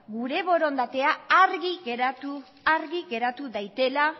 gure borondatea argi geratu dadin